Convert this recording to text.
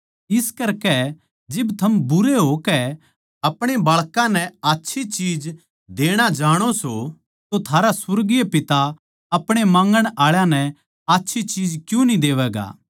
इस करकै जिब थम बुरे होकै अपणे बाळकां नै आच्छी चीज देणा जाणो सों तो थारा सुर्गीय पिता अपणे माँगण आळा नै आच्छी चीज क्यूँ न्ही देवैगा